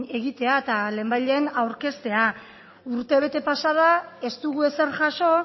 egitea eta lehenbailehen aurkeztea urtebete pasa da ez dugu ezer jaso